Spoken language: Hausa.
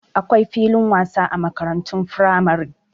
Akwai filin wasa a makarantun firamare.